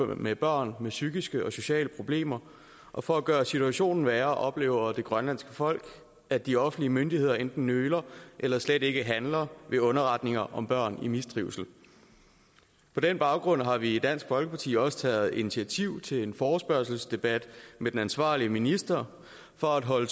med børn med psykiske og sociale problemer og for at gøre situationen værre oplever det grønlandske folk at de offentlige myndigheder enten nøler eller slet ikke handler ved underretninger om børn i mistrivsel på den baggrund har vi i dansk folkeparti også taget initiativ til en forespørgselsdebat med den ansvarlige minister for at holde